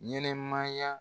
Ɲɛnɛmaya